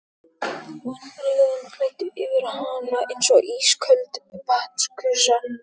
Vonbrigðin flæddu yfir hana eins og ísköld vatnsgusa.